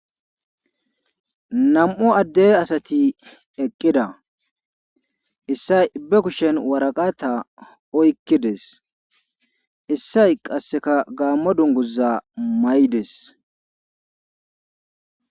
Nam'u Ade asati eqida ,issay be kushen waraqata oykid utides, issay qase gaamo dunguza mayides.